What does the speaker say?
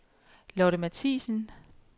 Lotte Mathiesen